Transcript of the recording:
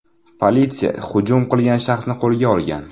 Politsiya hujum qilgan shaxsni qo‘lga olgan.